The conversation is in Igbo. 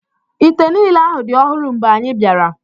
Ite niile ahụ dị ọhụrụ mgbe anyị bịara.